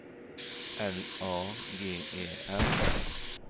L A G E R